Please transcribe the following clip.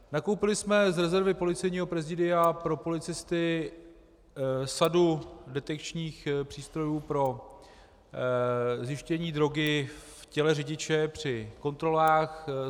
Nakoupili jsme z rezervy Policejního prezidia pro policisty sadu detekčních přístrojů pro zjištění drogy v těle řidiče při kontrolách.